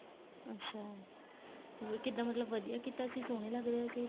ਅੱਛਾ ਵੀ ਕਿੱਦਾ ਮਤਲਬ ਵਧੀਆ ਕੀਤਾ ਸੀ ਸੋਹਣੇ ਲੱਗ ਰਹੇ ਸੀ